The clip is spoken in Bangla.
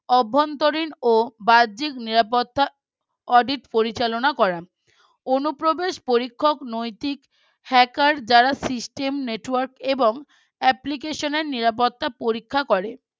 অভ্যন্তরীণ ও বাহ্যিক নিরাপত্তা audit পরিচালনা করা অনুপ্রবেশ পরীক্ষক নৈতিক hacker যারা system network এবং application এ নিরাপত্তা পরীক্ষা করে